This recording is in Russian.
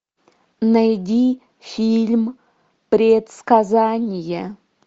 найди фильм предсказание